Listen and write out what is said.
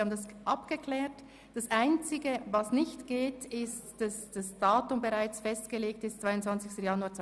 Die Einberufung ist somit korrekt, aber das Datum kann nicht festgelegt werden.